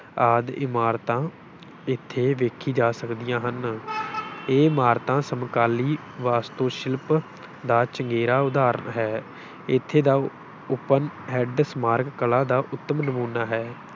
ਆਦਿ ਇਮਾਰਤਾਂ ਇੱਥੇ ਵੇਖੀ ਜਾ ਸਕਦੀਆਂ ਹਨ ਇਹ ਇਮਾਰਤਾਂ ਸਮਕਾਲੀ ਵਾਸਤੂਸ਼ਿਲਪ ਦਾ ਚੰਗੇਰਾ ਉਦਾਹਰਣ ਹੈ, ਇੱਥੇ ਦਾ open ਹੈਂਡ ਸਮਾਰਕ ਕਲਾ ਦਾ ਉੱਤਮ ਨਮੂਨਾ ਹੈ।